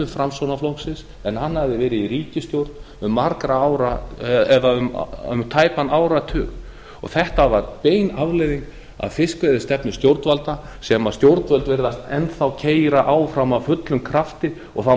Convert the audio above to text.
framsóknarflokksins en hann hafði verið í ríkisstjórn um tæpan áratug þetta var bein afleiðing af fiskveiðistefnu stjórnvalda sem stjórnvöld virðast enn þá keyra áfram af fullum krafti og það